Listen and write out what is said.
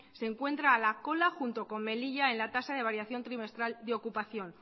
se encuentra a la cola junto con melilla en la tasa de variación trimestral de ocupación